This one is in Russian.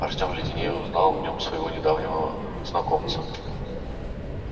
артём леденея узнал в нём своего недавнего знакомца